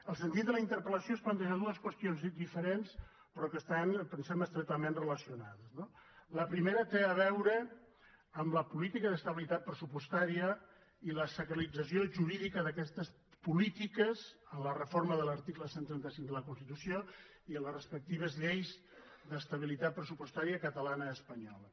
el sentit de la interpelrents però que estan ho pensem estretament relacionades no la primera té a veure amb la política d’estabilitat pressupostària i la sacralització jurídica d’aquestes polítiques amb la reforma de l’article cent i trenta cinc de la constitució i les respectives lleis d’estabilitat pressupostària catalana i espanyola